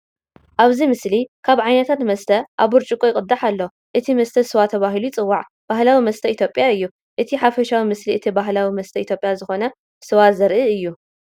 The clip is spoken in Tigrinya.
ኣብዚ ምስሊ ካበ ዓይነታት መስተ ኣብ ብርጭቆ ይቅዳሕ ኣሎ። እቲ መስተ ስዋ ተባሂሉ ይጽዋዕ ባህላዊ መስተ ኢትዮጵያ እዩ። እቲ ሓፈሻዊ ምስሊ እቲ ባህላዊ መስተ ኢትዮጵያ ዝኾነ ስዋ ዘርኢ እዩ።